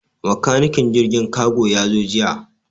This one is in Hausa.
Makanikin jirgin kago ya zo jiya.